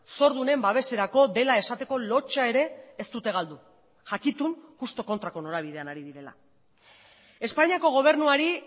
zordunen babeserako dela esateko lotsa ere ez dute galdu jakitun justu kontrako norabidean ari direla espainiako gobernuari